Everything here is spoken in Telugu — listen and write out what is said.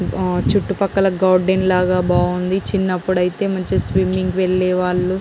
చుట్టూ పక్కల గార్డెన్ లాగా బాగుంది. చిన్నప్ప్పుడు అయితే మంచి స్విమ్మింగ్ కి వెళ్ళేవాళ్ళం.